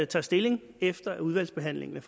tager stilling efter at udvalgsbehandlingen